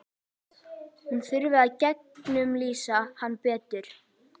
Hún þurfi að gegnumlýsa hann betur.